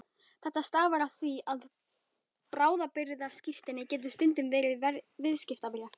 Þetta stafar af því að bráðabirgðaskírteini getur stundum verið viðskiptabréf.